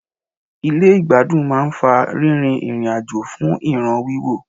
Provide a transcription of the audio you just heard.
Ilé ìgbádùn máà ń fa rírin ìrìn àjò fún ìràn wíwò.